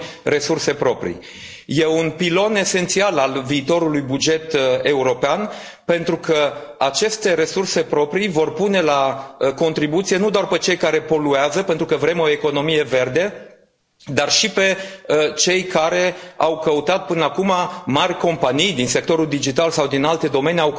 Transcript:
E un pilon esențial al viitorului buget european, pentru că aceste resurse proprii vor pune la contribuție nu doar pe cei care poluează, pentru că vrem o economie verde, dar și pe cei care au căutat până acum, mari companii din sectorul digital sau din alte domenii,